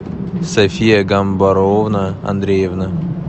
софия гамбаровна андреевна